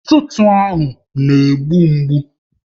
Ntụtụ ahụ ọ na-egbu mgbu?